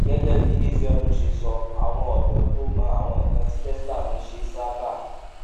gégé bí ezeonu ṣe sọ àwọn òdó tó mọ àwọn nǹkan tí tesla ń ṣe sábà